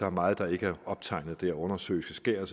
er meget der ikke er optegnet undersøiske skær og